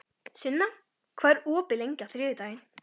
Sunna, hvað er opið lengi á þriðjudaginn?